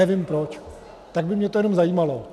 nevím proč, tak by mě to jenom zajímalo.